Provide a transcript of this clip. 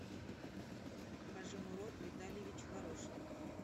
хожимурод витальевич хорошев